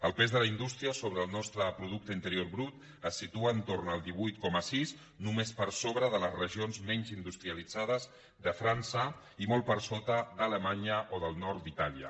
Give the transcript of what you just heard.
el pes de la indústria sobre el nostre producte interior brut es situa entorn al divuit coma sis només per sobre de les regions menys industrialitzades de frança i molt per sota d’alemanya o del nord d’itàlia